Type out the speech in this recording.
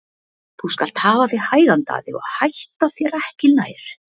Þú skalt hafa þig hægan Daði og hætta þér ekki nær!